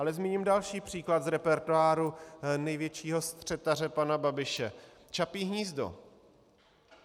Ale zmíním další příklad z repertoáru největšího střetaře pana Babiše - Čapí hnízdo.